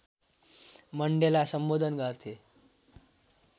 Mandela सम्बोधन गर्थे